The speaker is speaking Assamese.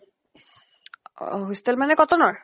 অহ hostel মানে কটনৰ?